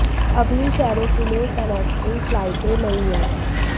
अभी इन शहरों के लिए कनेक्टिंग फ्लाइटें नहीं हैं